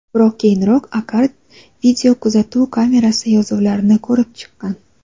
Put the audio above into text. Biroq keyinroq Akar videokuzatuv kamerasi yozuvlarini ko‘rib chiqqan.